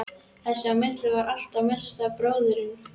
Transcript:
Þess á milli var allt í mesta bróðerni.